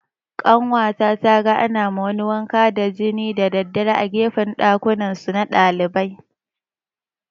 Ƙanwata taga ana ma wani wanka da jini da daddare a gefen ɗakunansu na ɗalibai